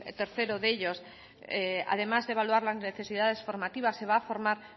tercero de ellos además de evaluar las necesidades formativas se va a formar